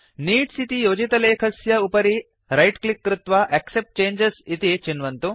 needs इति योजितलेखस्य उपरि रैट् क्लिक् कृत्वा एक्सेप्ट् चङ्गे इति चिन्वन्तु